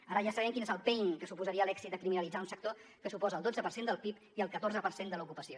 ara ja sabem quin és el pain que suposaria l’èxit de criminalitzar un sector que suposa el dotze per cent del pib i el catorze per cent de l’ocupació